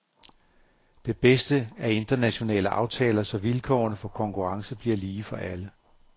Det bedste er internationale aftaler, så vilkårene for konkurrence bliver lige for alle.